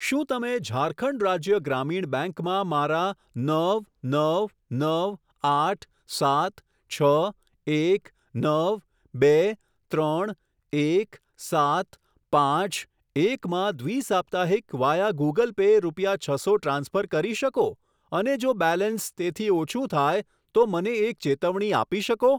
શું તમે ઝારખંડ રાજ્ય ગ્રામીણ બેંક માં મારા નવ નવ નવ આઠ સાત છ એક નવ બે ત્રણ એક સાત પાંચ એક માં દ્વિ સાપ્તાહિક વાયા ગૂગલ પે રૂપિયા છસો ટ્રાન્સફર કરી શકો અને જો બેલેન્સ તેથી ઓછું થાય તો મને એક ચેતવણી આપી શકો?